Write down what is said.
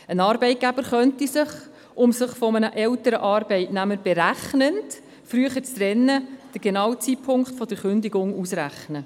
Ein Arbeitgeber könnte sich den genauen Zeitpunkt der Kündigung ausrechnen, um sich berechnend von einem älteren Arbeitnehmer früher zu trennen.